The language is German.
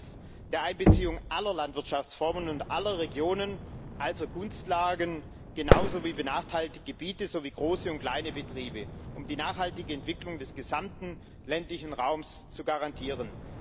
Zweitens Der Einbeziehung aller Landwirtschaftsformen und aller Regionen, also Gunstlagen genauso wie benachteiligte Gebiete sowie große und kleine Betriebe, um die nachhaltige Entwicklung des gesamten ländlichen Raums zu garantieren.